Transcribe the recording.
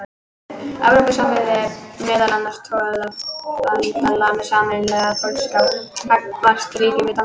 Evrópusambandið er meðal annars tollabandalag með sameiginlega tollskrá gagnvart ríkjum utan þess.